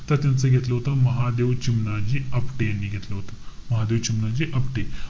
त त्यांचं घेतलं होत महादेव चिमणाजी आपटे यांनी घेतलं होतं. महादेव चिमणाजी आपटे.